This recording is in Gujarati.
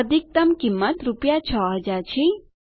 અધિકતમ કિંમત રૂપિયા 6000 છે